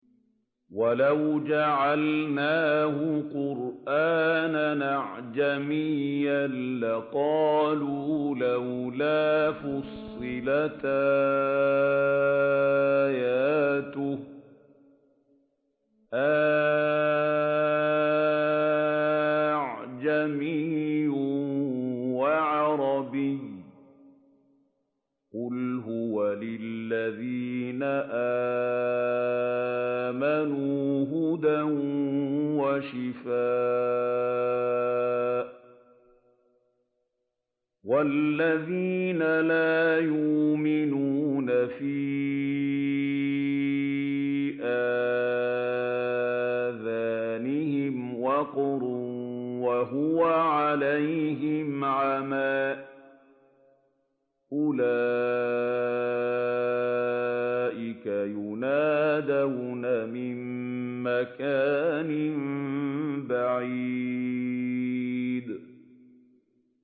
وَلَوْ جَعَلْنَاهُ قُرْآنًا أَعْجَمِيًّا لَّقَالُوا لَوْلَا فُصِّلَتْ آيَاتُهُ ۖ أَأَعْجَمِيٌّ وَعَرَبِيٌّ ۗ قُلْ هُوَ لِلَّذِينَ آمَنُوا هُدًى وَشِفَاءٌ ۖ وَالَّذِينَ لَا يُؤْمِنُونَ فِي آذَانِهِمْ وَقْرٌ وَهُوَ عَلَيْهِمْ عَمًى ۚ أُولَٰئِكَ يُنَادَوْنَ مِن مَّكَانٍ بَعِيدٍ